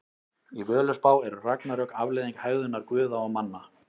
Í Völuspá eru ragnarök afleiðing hegðunar guða og manna.